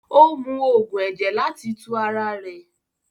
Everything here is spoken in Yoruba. O mú oogun ẹ̀jẹ̀ láti tù ara rè.